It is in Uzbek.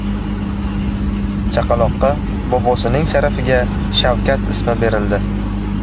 Chaqaloqqa bobosining sharafiga Shavkat ismi berildi.